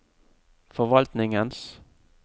forvaltningens